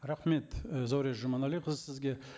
рахмет і зәуреш жұманәліқызы сізге